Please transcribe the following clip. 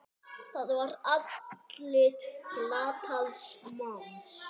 Það var andlit glataðs manns.